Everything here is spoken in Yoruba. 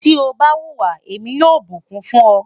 ti o ba huwa, Emi yoo bukun fun ọ